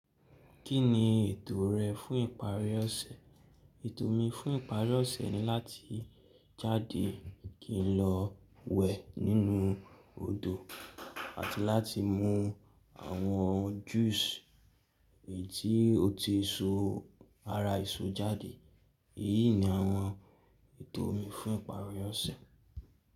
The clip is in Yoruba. Kí ni ètò rẹ fún ìparí ọ̀sẹ̀? Ètò mi fún ìparí ọ̀sẹ̀ ni láti jáde kí n lọ wẹ̀ nínú odò àti láti mú àwọn juice èyí tí ó ti so ara èso jáde. Èyí ni àwọn ètò mi fún ìparí ọ̀sẹ̀.